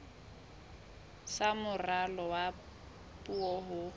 sa moralo wa puo ho